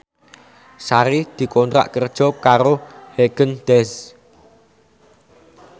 Sari dikontrak kerja karo Haagen Daazs